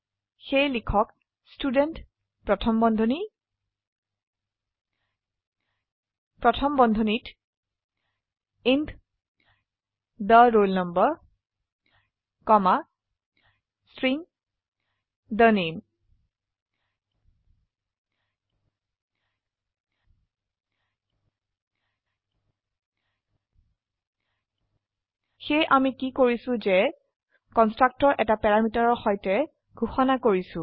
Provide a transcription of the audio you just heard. সেয়েলিখক student প্ৰথম বন্ধনী প্ৰথম বন্ধনীত ইণ্ট the roll number কমা ষ্ট্ৰিং the name সেয়ে আমিকি কৰিছোযে কন্সট্ৰকটৰ এটা প্যাৰামিটাৰৰ সৈতে ঘোষিত কৰিছো